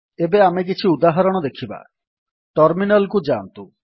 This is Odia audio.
ଏବେ ଆମେ କିଛି ଉଦାହରଣ ଦେଖିବା ଟର୍ମିନାଲ୍ କୁ ଯାଆନ୍ତୁ